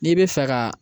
N'i bɛ fɛ ka